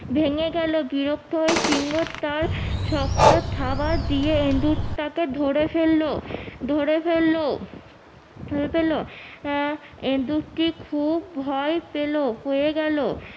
ভেঙে গেলো বিরক্ত হয়ে সিংহ তার শক্ত থাবা দিয়ে ইন্দুরটাকে ধরে ফেললো ধরে ফেললো আহ ইঁন্দুরটি খুব ভয় পেলো গেলো